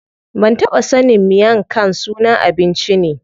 Ban taɓa sanin miang khan sunan abinci ne.